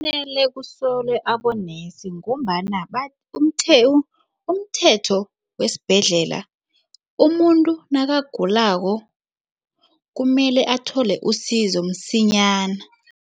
Kumele kusolwe abonesi ngombana umthetho wesibhedlela umuntu nakagulako kumele athole usizo msinyana.